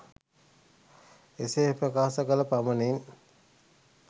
එසේ ප්‍රකාශ කළ පමණින්